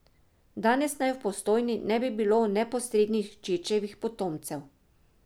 Danes naj v Postojni ne bi bilo neposrednih Čečevih potomcev.